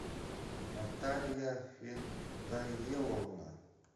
наталья фидаиловна